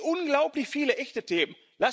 Es gibt unglaublich viele echte Themen.